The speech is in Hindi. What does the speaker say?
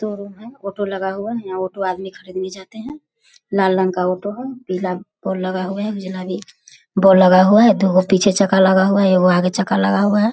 शोरूम है ऑटो लगा हुआ है यहाँ ऑटो आदमी खरीदने जाते हैं लाल रंग का ऑटो है पीला बोर्ड लगा हुआ है उजला भी बोर्ड लगा हुआ दोगो पीछे चक्का लगा हुआ है एगो आगे चक्का लगा हुआ है।